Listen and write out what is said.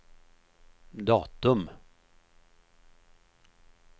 datum